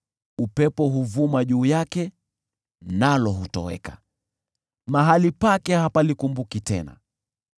upepo huvuma juu yake nalo hutoweka, mahali pake hapalikumbuki tena.